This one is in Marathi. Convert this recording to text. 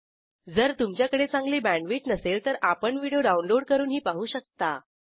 जर तुमच्याकडे चांगली बॅण्डविड्थ नसेल तर आपण व्हिडिओ डाउनलोड करूनही पाहू शकता